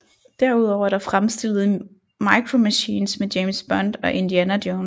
Derudover er der fremstillet Micro Machines med James Bond og Indiana Jones